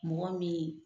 Mɔgɔ min